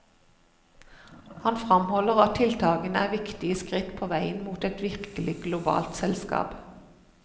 Han fremholder at tiltakene er viktige skritt på veien mot et virkelig globalt selskap.